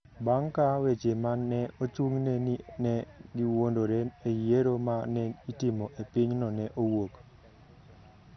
bang’ ka weche ma ne ochung’ne ni ne giwuondore e yiero ma ne itimo e pinyno ne owuok.